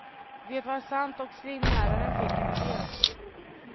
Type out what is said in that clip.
Det var sant och simläraren fick en idé.